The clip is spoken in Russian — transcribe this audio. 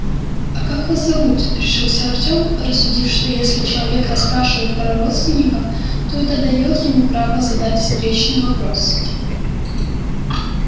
а как вас зовут решился артём рассудив что если человек расспрашивает про родственника то это даёт ему право задать встречный вопрос